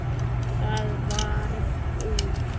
Það varð úr.